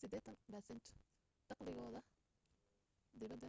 80% dakhligooda dibadda